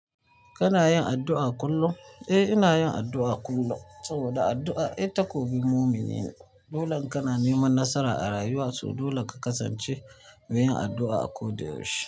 Kana yin addu'a kullum? Eh, ina yin addu'a kullum saboda addu'a ai takobin mumini. Dole in kana neman nasara a rayuwa, to dole ka kasance mai yin addu'a a ko da yaushe.